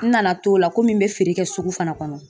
N nana to la komi n bɛ feere kɛ sugu fana kɔnɔ